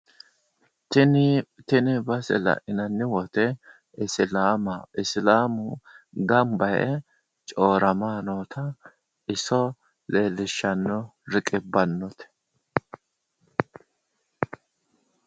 Tini base la'inanni woyite islaama isilaamu gamba yee coyirama noota iso leellishshanno riqibbanno.